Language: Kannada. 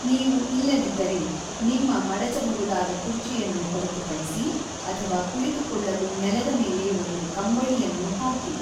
ನೀವು ಇಲ್ಲದಿದ್ದರೆ, ನಿಮ್ಮ ಮಡಚಬಹುದಾದ ಕುರ್ಚಿಯನ್ನು ಹೊರತುಪಡಿಸಿ ಅಥವಾ ಕುಳಿತುಕೊಳ್ಳಲು ನೆಲದ ಮೇಲೆ ಒಂದು ಕಂಬಳಿಯನ್ನು ಹಾಕಿ.